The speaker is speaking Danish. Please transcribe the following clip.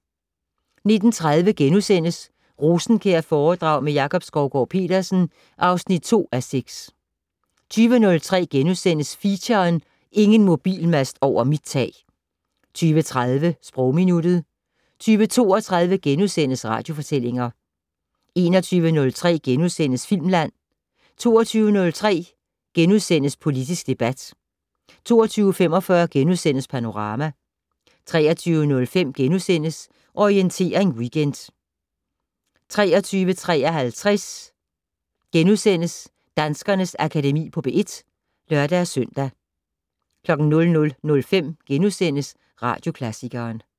19:30: Rosenkjærforedrag med Jakob Skovgaard-Petersen (2:6)* 20:03: Feature: Ingen mobilmast over mit tag * 20:30: Sprogminuttet 20:32: Radiofortællinger * 21:03: Filmland * 22:03: Politisk debat * 22:45: Panorama * 23:05: Orientering Weekend * 23:53: Danskernes Akademi på P1 *(lør-søn) 00:05: Radioklassikeren *